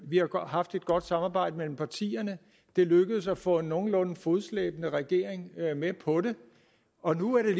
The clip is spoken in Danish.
vi har haft et godt samarbejde mellem partierne det lykkedes at få en nogenlunde fodslæbende regering med på det og nu er det